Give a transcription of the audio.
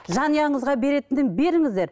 жанұяңызға беретінін беріңіздер